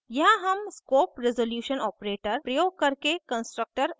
यहाँ हम scope resolution operator प्रयोग करके constructor access करते हैं